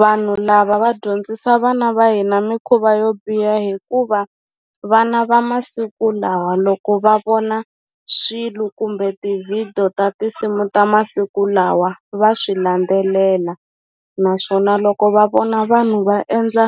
Vanhu lava va dyondzisa vana va hina mikhuva yo biha hikuva vana va masiku lawa loko va vona swilo kumbe tivhidiyo ta tinsimu ta masiku lawa va swi landzelela naswona loko va vona vanhu va endla